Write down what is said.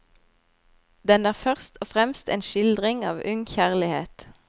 Den er først og fremst en skildring av ung kjærlighet.